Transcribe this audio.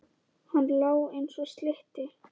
Hann lá eins og slytti.